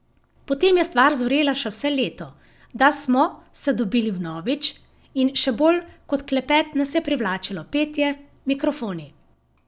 Potem je stvar zorela še vse leto, da smo se dobili vnovič, in še bolj kot klepet nas je privlačilo petje, mikrofoni.